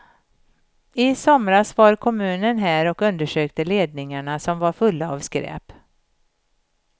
I somras var kommunen här och undersökte ledningarna som var fulla av skräp.